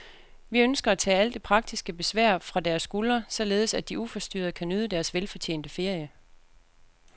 Vi ønsker at tage alt det praktiske besvær fra deres skuldre, således at de uforstyrret kan nyde deres velfortjente ferie.